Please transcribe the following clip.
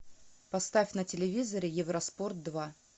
поставь на телевизоре евроспорт два